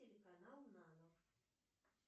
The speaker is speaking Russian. телеканал нано